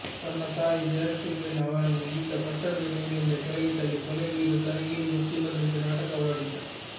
ತನ್ನ ತಾಯಿ ಜಯಶ್ರೀ ಬೆನ್ ಅವರನ್ನು ಈತ ಕಟ್ಟಡದ ಮೇಲಿಂದ ಕೆಳಗೆ ತಳ್ಳಿ ಕೊಲೆಗೈದು ತನಗೇನು ಗೊತ್ತಿಲ್ಲದಂತೆ ನಾಟಕವಾಡಿದ್ದ